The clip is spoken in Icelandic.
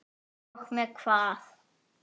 Og með hvað?